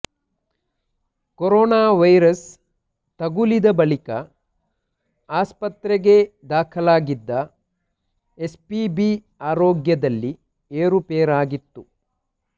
corona virus ತಗುಲಿದ ಬಳಿಕ ಆಸ್ಪತ್ರೆಗೆ ದಾಖಲಾಗಿದ್ದ ಎಸ್ಪಿಬಿ ಆರೋಗ್ಯದಲ್ಲಿ ಏರುಪೇರಾಗಿತ್ತು